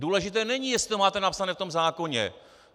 Důležité není, jestli to máte napsané v tom zákoně.